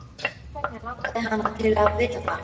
Hvers vegna langar hana til að vita það?